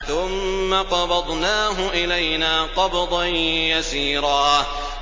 ثُمَّ قَبَضْنَاهُ إِلَيْنَا قَبْضًا يَسِيرًا